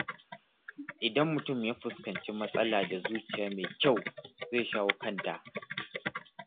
Idan mutum ya fuskanci matsala da zuciya mai kyau, zai shawo kanta.